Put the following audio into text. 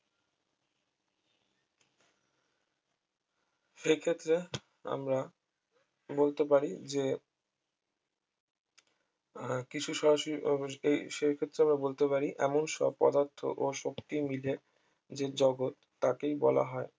সেই ক্ষেত্রে আমরা বলতে পারি যে আহ কিছু সরাসরি আহ এই সেই ক্ষেত্রে আমরা বলতে পারি এমন সব পদার্থ ও শক্তি মিলে যে জগৎ তাকেই বলা হয়